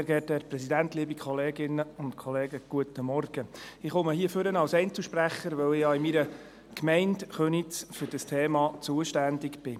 Ich spreche hier als Einzelsprecher, weil ich in meiner Gemeinde, in Köniz, für dieses Thema zuständig bin.